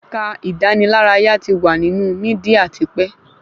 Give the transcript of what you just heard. Ẹ̀ka ìdánilárayá ti wà nínú mídíà tipẹ́